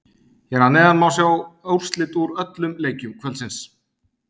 Hér að neðan má sjá úrslit úr öllum leikjum kvöldsins.